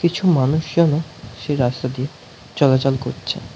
কিছু মানুষজনও সেই রাস্তা দিয়ে চলাচল করছে।